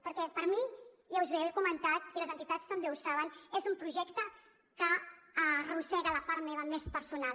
perquè per mi ja us ho he comentat i les entitats també ho saben és un projecte que arrossega la part meva més personal